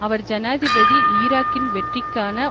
அவர் ஜனாதிபதி ஈராக்கில் வெற்றிக்கான